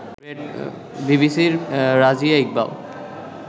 বিবিসির রাজিয়া ইকবাল